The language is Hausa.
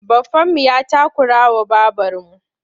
Baffanmu ya takurawa babarmu.